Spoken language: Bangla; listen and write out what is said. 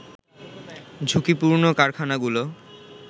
ঝুঁকিপূর্ণ কারখানাগুলো